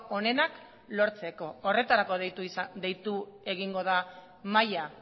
onenak lortzeko horretarako deitu egingo da mahaia